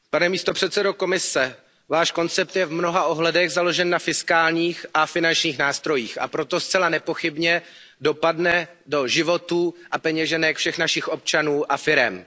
Paní předsedající, pane místopředsedo Komise, váš koncept je v mnoha ohledech založen na fiskálních a finančních nástrojích, a proto zcela nepochybně bude mít dopad na životy a peněženky všech našich občanů a firem.